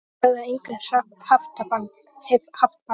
Þeir höfðu að engu haft bann